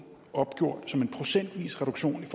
opgjort som en procentvis reduktion i